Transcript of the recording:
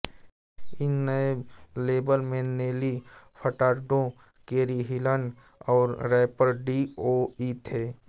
इस नए लेबल में नेली फ़र्टाडो केरी हिल्सन और रैपर डी ओ इ थे